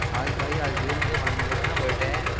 आज भाई आजइयो मेरे भांजे का बड्डे है।